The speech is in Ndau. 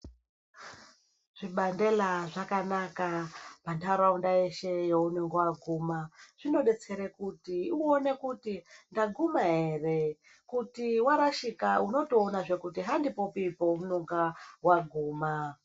Zvibandera zvakanaka muntaraunda yeshe yaunenge waguma, zvinodetsera kuti uone kuti waguma ere. Kuti warashika unotoona kuti andipopi paunenge waguma.